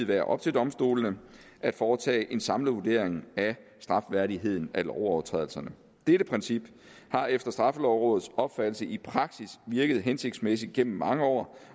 være op til domstolene at foretage en samlet vurdering af strafværdigheden af lovovertrædelserne dette princip har efter straffelovrådets opfattelse i praksis virket hensigtsmæssigt igennem mange år